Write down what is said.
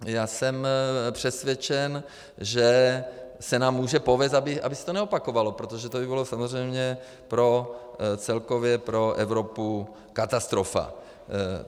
Já jsem přesvědčen, že se nám může povést, aby se to neopakovalo, protože to by bylo samozřejmě celkově pro Evropu katastrofa.